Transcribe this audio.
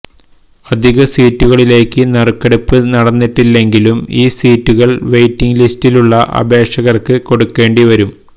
അധിക സീറ്റുകളിലേക്ക് നറുക്കെടുപ്പ് നടന്നിട്ടില്ലെങ്കിലും ഈ സീറ്റുകള് വെയ്റ്റിങ് ലിസ്റ്റിലുള്ള അപേക്ഷകര്ക്ക് കൊടുക്കേണ്ടി വരും